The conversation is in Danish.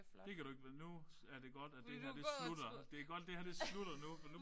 Det kan du ikke nu er det godt at det her det slutter. Det er godt det her det slutter nu for nu